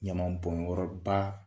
Ɲamabɔnyɔrɔba